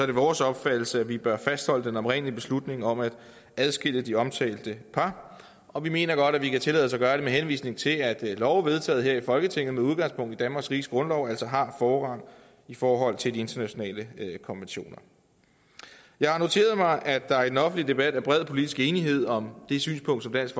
det vores opfattelse at vi bør fastholde den oprindelige beslutning om at adskille de omtalte par og vi mener godt at vi kan tillade os at gøre det med henvisning til at love vedtaget her i folketinget med udgangspunkt i danmarks riges grundlov altså har forrang i forhold til de internationale konventioner jeg har noteret mig at der i den offentlige debat er bred politisk enighed om det synspunkt som dansk